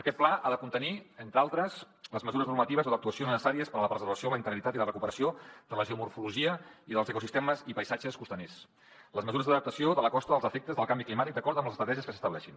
aquest pla ha de contenir entre altres les mesures normatives o d’actuació necessàries per a la preservació la integritat i la recuperació de la geomorfologia i dels ecosistemes i paisatges costaners les mesures d’adaptació de la costa als efectes del canvi climàtic d’acord amb les estratègies que s’estableixin